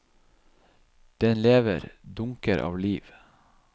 Den lever, dunker av liv.